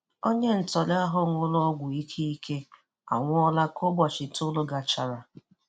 Onye ntọrọ ahụ ṅụrụ ọgwụ ike ike anwụọla ka ụbọchị itoolu gachara.